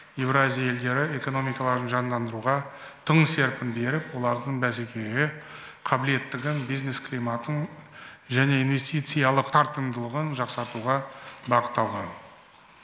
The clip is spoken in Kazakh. еуразия елдері экономикаларын жандандыруға тың серпін беріп олардың бәсекеге қабілеттігін бизнес климатын және инвестициялық тартымдылығын жақсартуға бағытталған